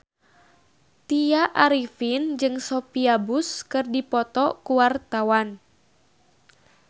Tya Arifin jeung Sophia Bush keur dipoto ku wartawan